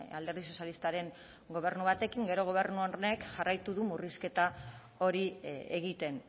alderdi sozialistaren gobernu batekin gero gobernu honek jarraitu du murrizketa hori egiten